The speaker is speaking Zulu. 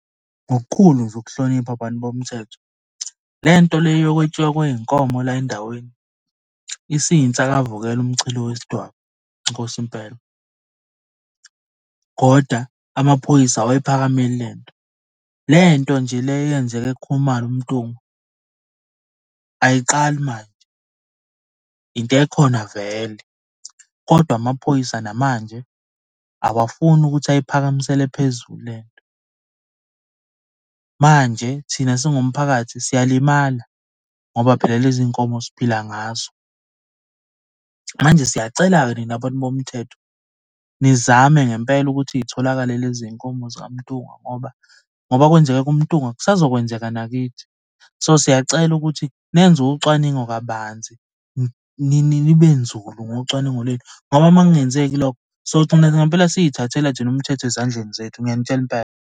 Ngokukhulu nje ukuhlonipha bantu bomthetho le nto le yokwetshiwa kwey'nkomo la endaweni isiyinsakavukela umchilo wesidwaba inkosi impela, koda amaphoyisa awayiphakameli le nto. Le nto nje le eyenzek kuKhumalo uMntungwa, ayiqali manje. Into ekhona vele, kodwa amaphoyisa namanje awafuni ukuthi ayiphakamisele phezulu le nto. Manje thina singumphakathi siyalimala ngoba phela lezi nkomo siphila ngazo. Manje siyacela-ke nina bantu bomthetho nizame ngempela ukuthi y'tholakale lezi y'nkomo zakwaMntungwa ngoba, ngoba kwenzeke kumntungwa kusazo kwenzeka nakithi. So, siyacela ukuthi nenze ucwaningo kabanzi nibe nzulu ngocwaningo lwenu, ngoba uma kungenzeki lokho, sogcina ngampela siy'thathela thina umthetho ezandleni zethu, ngiyanitshela impela.